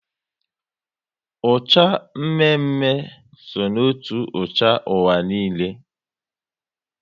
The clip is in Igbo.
Ucha mme mme so otú ucha ụwa niile